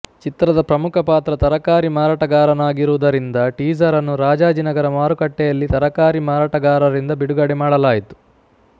ಚಿತ್ರದ ಪ್ರಮುಖ ಪಾತ್ರ ತರಕಾರಿ ಮಾರಾಟಗಾರನಾಗಿರುವುದರಿಂದ ಟೀಸರ್ ಅನ್ನು ರಾಜಾಜಿನಗರ ಮಾರುಕಟ್ಟೆಯಲ್ಲಿ ತರಕಾರಿ ಮಾರಾಟಗಾರರಿಂದ ಬಿಡುಗಡೆ ಮಾಡಲಾಯಿತು